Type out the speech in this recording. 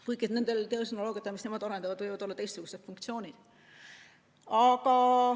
Kuigi nendel tehnoloogiatel, mis nemad arendavad, võivad olla teistsugused funktsioonid.